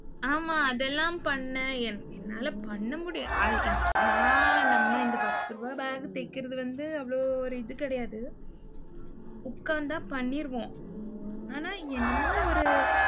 ஆமா, அதெல்லாம் பண்ணேன். என்~ என்னால பண்ண முடியும் அது என் ந~ நம்ம இந்த பத்து ரூபாய் bag தைக்கிறது வந்து, அவ்வளவு ஒரு இது கிடையாது. உட்கார்ந்தா பண்ணிருவோம். ஆனா என்னமோ ஒரு